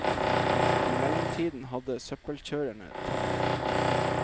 I mellomtiden hadde søppelkjørerne tatt det.